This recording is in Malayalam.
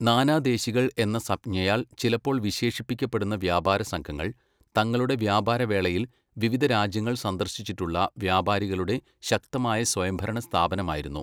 നാനാദേശികൾ' എന്ന സംജ്ഞയാൽ ചിലപ്പോൾ വിശേഷിപ്പിക്കപ്പെടുന്ന വ്യാപാരസംഘങ്ങൾ, തങ്ങളുടെ വ്യാപാരവേളയിൽ വിവിധ രാജ്യങ്ങൾ സന്ദർശിച്ചിട്ടുള്ള വ്യാപാരികളുടെ ശക്തമായ സ്വയംഭരണ സ്ഥാപനമായിരുന്നു.